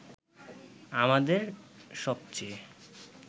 আমাদের সবচে